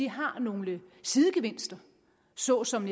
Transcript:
har nogle sidegevinster såsom